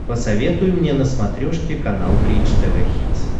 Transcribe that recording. посоветуй мне на смотрешке канал бридж тв хитс